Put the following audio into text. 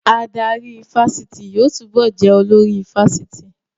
Adarí ifásitì yóò túbọ̀ jẹ́ olórí ifásitì